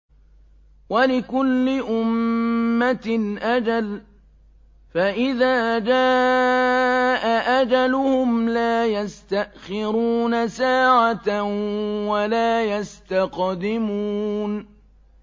وَلِكُلِّ أُمَّةٍ أَجَلٌ ۖ فَإِذَا جَاءَ أَجَلُهُمْ لَا يَسْتَأْخِرُونَ سَاعَةً ۖ وَلَا يَسْتَقْدِمُونَ